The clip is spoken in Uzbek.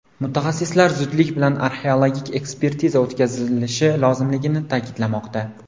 Mutaxassislar zudlik bilan arxeologik ekspertiza o‘tkazilishi lozimligini ta’kidlamoqda.